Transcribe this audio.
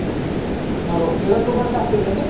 okay किराण्याचं दुकान टाकलं त्यानी